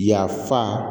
Yafa